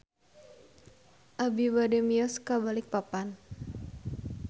Abi bade mios ka Balikpapan